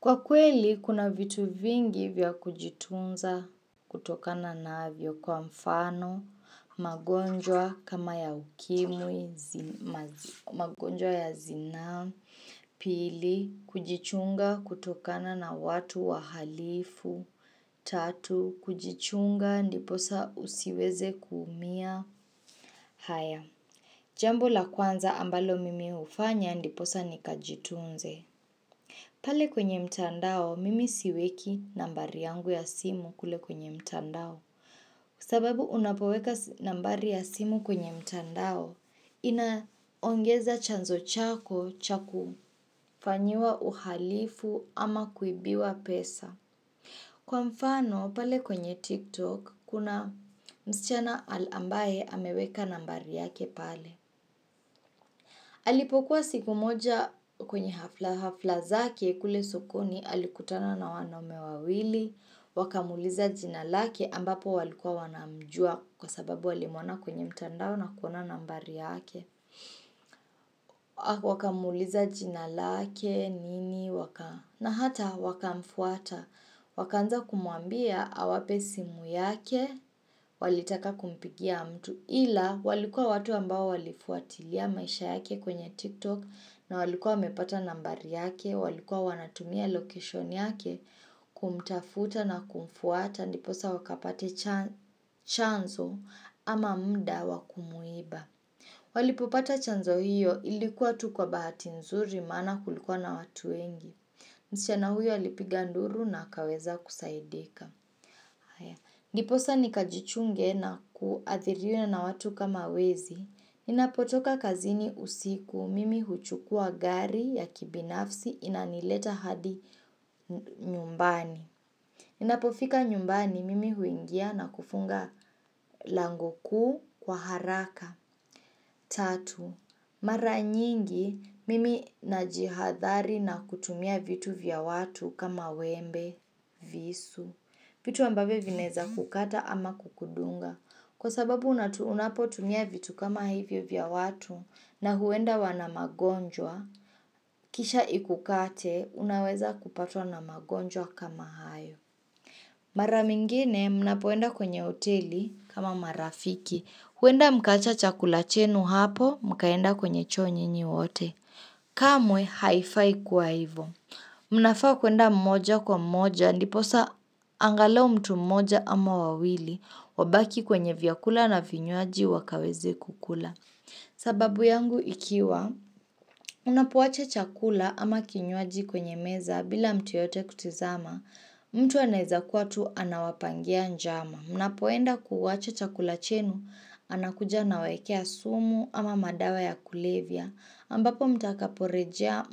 Kwa kweli, kuna vitu vingi vya kujitunza kutokana navyo kwa mfano, magonjwa kama ya ukimwi, magonjwa ya zina, pili, kujichunga kutokana na watu wa halifu, tatu, kujichunga ndiposa usiweze kuumia, haya. Jambo la kwanza ambalo mimi ufanya ndiposa nikajitunze. Pale kwenye mtandao, mimi siweki nambari yangu ya simu kule kwenye mtandao, kwa sababu unapoweka nambari ya simu kwenye mtandao, inaongeza chanzo chako chakufanyua uhalifu ama kuibiwa pesa. Kwa mfano, pale kwenye TikTok, kuna msichana ambaye hameweka nambari yake pale. Alipokuwa siku moja kwenye hafla hafla zake kule sokoni, alikutana na wanaume wawili, wakamuliza jinalake ambapo walikua wanamjua kwa sababu walimwona kwenye mtandao na kuna nambari yake. Wakamuliza jinalake nini waka na hata wakamfuata wakanza kumuambia awape simu yake walitaka kumpigia mtu ila walikua watu ambao walifuatilia maisha yake kwenye tiktok na walikua wamepata nambari yake walikua wanatumia location yake kumtafuta na kumfuata niposa wakapati chanzo ama mda wakumuiba Walipopata chanzo hiyo ilikuwa tu kwa bahati nzuri mana kulikuwa na watu wengi. Msichana huyo alipiga nduru na akaweza kusaidika. Ndiposa nikajichunge na kuathiriuye na watu kama wezi. Inapotoka kazini usiku mimi huchukua gari ya kibinafsi inanileta hadi nyumbani. Inapofika nyumbani mimi huingia na kufunga lango ku kwa haraka. 3. Mara nyingi mimi najihadhari na kutumia vitu vya watu kama wembe, visu. Vitu ambavo vineza kukata ama kukudunga. Kwa sababu unapotumia vitu kama hivyo vya watu na huenda wana magonjwa, kisha ikukate unaweza kupatua na magonjwa kama hayo. Mara mingine, mnapoenda kwenye oteli kama marafiki. Huenda mkacha chakula chenu hapo, mkaenda kwenye choo nyinyi wote. Kamwe, haifai kuwa hivo. Mnafaa kuenda mmoja kwa mmoja, niposa angalau mtu mmoja ama wawili, wabaki kwenye vyakula na vinyuaji wakaweze kukula. Sababu yangu ikiwa, unapoacha chakula ama kinyuaji kwenye meza, bila mtu yote kutizama, mtu anahiza kuwa tu anawapangia njama Mnapoenda kuwache chakula chenu, anakuja anawekea sumu ama madawa ya kulevia ambapo mtakaporeja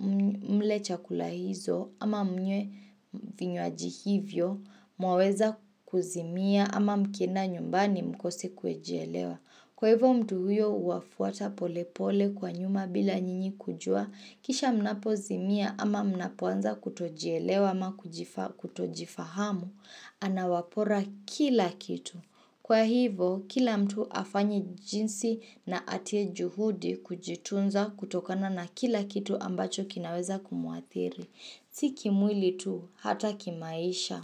mle chakula hizo ama mnye vinywaji hivyo Mwaweza kuzimia ama mkenda nyumbani mkose kuejelewa Kwa hivo mtu huyo uafuata pole pole kwa nyuma bila nyinyi kujua Kisha mnapozi mia ama mnapoanza kutojielewa ama kutojifahamu, anawapora kila kitu. Kwa hivo, kila mtu afanyi jinsi na atie juhudi kujitunza kutokana na kila kitu ambacho kinaweza kumuathiri. Siki mwili tu, hata kimaisha.